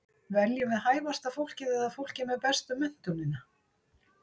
Veljum við hæfasta fólkið eða fólkið með bestu menntunina?